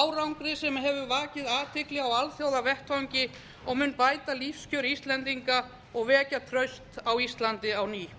árangri sem hefur vakið athygli á alþjóðavettvangi og mun bæta lífskjör íslendinga og vekja traust á íslandi á ný í